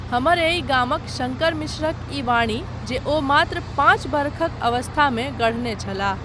हमर एहि गामक शङ्कर मिश्रक ई वाणी जे ओ मात्र पाँच वर्षक अवस्थामे गढ़ने छलाह।